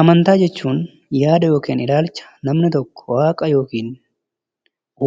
Amantaa jechuun yaada yookin ilaalcha namni tokko waaqa yookin